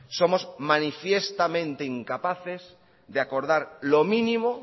somos manifiestamente incapaces de acordar lo mínimo